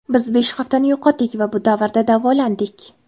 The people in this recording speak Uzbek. Biz besh haftani yo‘qotdik va bu davrda davolandik.